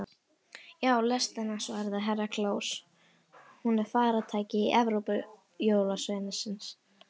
Já, lestina, svaraði Herra Kláus, hún er faratæki Evrópujólasveinsins.